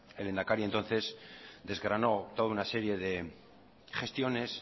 el lehendakari entonces desgranó toda una serie de gestiones